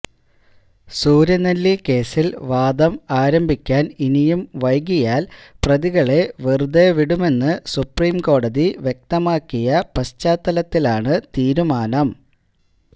സൂര്യനെല്ലി കേസില് വാദം ആരംഭിക്കാന് ഇനിയും വൈകിയാല് പ്രതികളെ വെറുതേ വിടുമെന്ന് സുപ്രീം കോടതി വ്യക്തമാക്കിയ പശ്ചാത്തലത്തിലാണ് തീരുമാനം